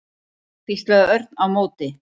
hvíslaði Örn á móti.